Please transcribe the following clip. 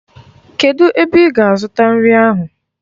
Kedụ ebe ị ga-azụta nri ahụ?